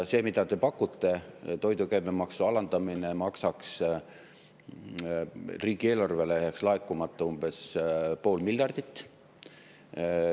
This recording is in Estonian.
See, mida te pakute, toidu käibemaksu alandamine,, et riigieelarvesse jääks laekumata umbes pool miljardit.